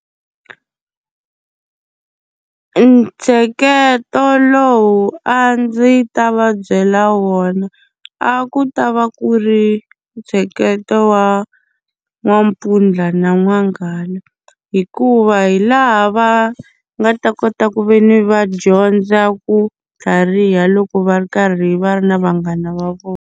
Ntsheketo lowu a ndzi ta va byela wona a ku ta va ku ri ntsheketo wa n'wampfundla na n'wanghala, hikuva hi laha va nga ta kota ku ve ni va dyondza ku tlhariha loko va ri karhi va ri na vanghana va vona.